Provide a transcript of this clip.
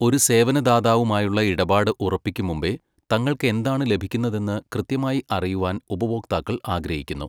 ഒരു സേവനദാതാവുമായുള്ള ഇടപാട് ഉറപ്പിക്കുംമുമ്പെ, തങ്ങൾക്ക് എന്താണ് ലഭിക്കുന്നതെന്ന് കൃത്യമായി അറിയുവാൻ ഉപഭോക്താക്കൾ ആഗ്രഹിക്കുന്നു.